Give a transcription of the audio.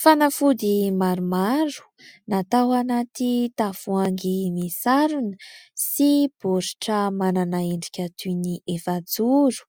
Fanafody maromaro natao anaty tavoahangy midarona sy baoritra manana endrika toy ny efa joro